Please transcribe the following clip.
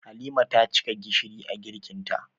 Halima ta cika gishiri a girkin ta